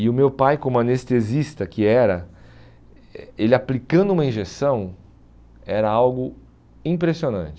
E o meu pai, como anestesista que era, eh ele aplicando uma injeção era algo impressionante.